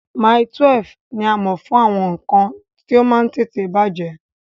Mile 12 ní a mọ̀ fún àwọn nǹkan tí ó máa ń tètè bàjẹ́